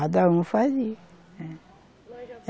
Cada um fazia, eh.